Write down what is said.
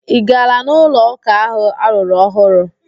Ị gaala n'ụlo ụka ahụ arụrụ ọhụrụ?